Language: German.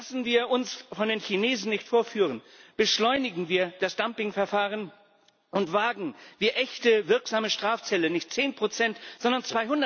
Lassen wir uns von den Chinesen nicht vorführen, beschleunigen wir das Dumping Verfahren und wagen wir echte, wirksame Strafzölle, nicht 10 sondern